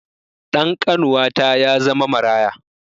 Ɗan ƙanuwata ya zama maraya